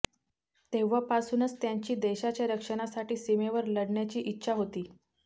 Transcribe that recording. तेव्हापासूनच त्यांची देशाच्या रक्षणासाठी सीमेवर लढण्याची इच्छा होती